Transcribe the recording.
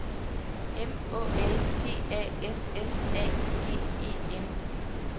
M Å L P A S S A G E N